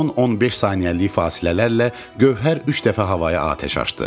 10-15 saniyəlik fasilələrlə Gövhər üç dəfə havaya atəş açdı.